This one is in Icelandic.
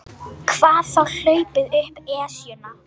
Hvað þá hlaupið upp Esjuna.